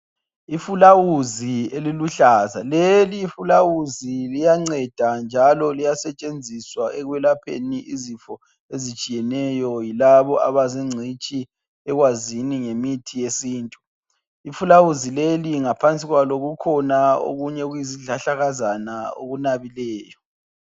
Ifulawuzi eliluhlaza leli fulawuzi liyanceda njalo liyasetshenziswa ekwelapheni izifo ezitshiyeneyo yilabo abazingcitshi ekwazini ngemithi yesintu. Ifulawuzi leli ngaphansi kwalo kukhona okunye okuyizihlahlakazana okunabileyo.